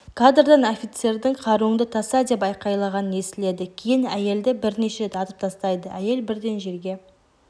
кадрдан офицердің қаруыңды таста деп айғайлағаны естіледі кейін әйелді бірнеше рет атып тастайды әйел бірден жерге